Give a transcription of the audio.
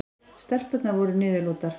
Stelpurnar voru niðurlútar.